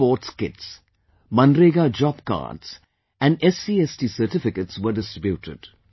Sports Kits, MNREGA job cards and SC/ST certificates were distributed